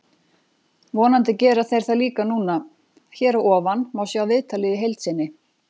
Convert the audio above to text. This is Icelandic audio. Vonandi gera þeir það líka núna. Hér að ofan má sjá viðtalið í heild sinni.